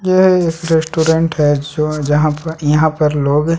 यह एक रेस्टोरेंट है जो जहां पर यहाँ पर लोग--